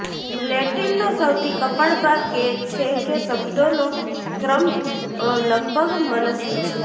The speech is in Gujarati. લેટિનનો સૌથી કપાળ ભાગ એ છે કે શબ્દોનો ક્રમ લગભગ મનસ્વી છે